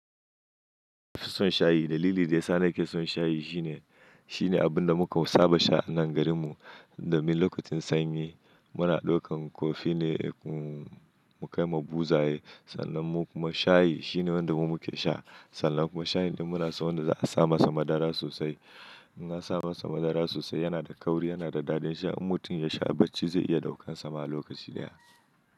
Na fi son shayi. Dalili da ya sa na ke son shayi shi ne, shine abun da muka saba sha a nan garin mu. Domin lokacin sanyi muna ɗaukan koffee ne mu kai ma buzaye, sannan mu kuma shayi shine wanda mu muke sha. Sannan kuma shayin din muna so wanda za a sa masa madara sosai. In an sa masa madara sosai yana da kauri, yana da daɗin sha. Mutum ya sha bacci zai iya ɗaukan sa ma a lokaci ɗaya.